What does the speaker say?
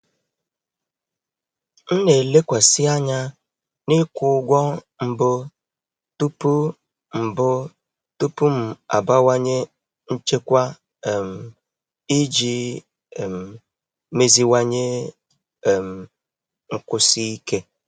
M na-elekwasị anya n'ịkwụ ụgwọ mbụ tupu mbụ tupu m abawanye nchekwa um iji um meziwanye um nkwụsi ike.